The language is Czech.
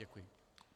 Děkuji.